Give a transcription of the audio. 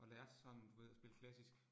Og lærte sådan du ved at spille klassisk